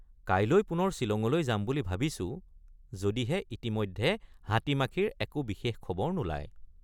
কাইলৈ পুনৰ ছিলঙলৈ যাম বুলি ভাবিছোঁ যদিহে ইতিমধ্যে হাতীমাখিৰ একো বিশেষ খবৰ নোলায়।